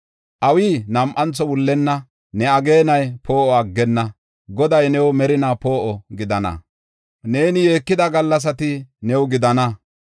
Awi nam7antho wullenna; ne ageenay poo7o aggenna. Goday new merinaa poo7o gidana; neeni yeekida gallasati new gidana.